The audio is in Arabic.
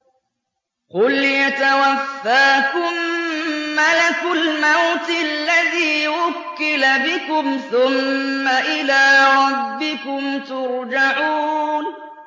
۞ قُلْ يَتَوَفَّاكُم مَّلَكُ الْمَوْتِ الَّذِي وُكِّلَ بِكُمْ ثُمَّ إِلَىٰ رَبِّكُمْ تُرْجَعُونَ